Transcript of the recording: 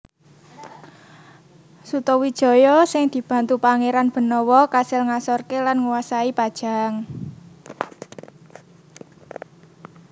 Sutawijaya sing dibantu Pangeran Benawa kasil ngasorke lan nguasai Pajang